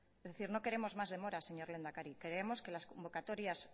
es decir no queremos más demora señor lehendakari queremos que las convocatorias